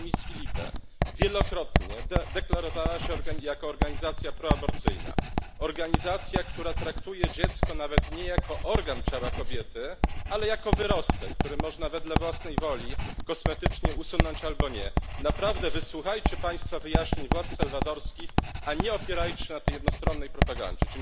w komisji LIBE, wielokrotnie deklarowała się jako organizacja proaborcyjna, organizacja, która traktuje dziecko nawet nie jako organ ciała kobiety, ale jako wyrostek, który można wedle własnej woli kosmetycznie usunąć albo nie. Naprawdę wysłuchajcie państwo wyjaśnień władz salwadorskich, a nie opierajcie się na tej jednostronnej propagandzie.